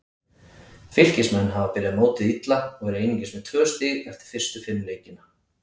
Fylkismenn hafa byrjað mótið illa og eru einungis með tvö stig eftir fyrstu fimm leikina.